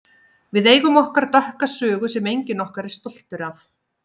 Við eigum okkar dökka sögu sem enginn okkar er stoltur af.